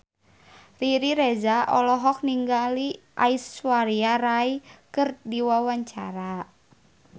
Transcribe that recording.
Riri Reza olohok ningali Aishwarya Rai keur diwawancara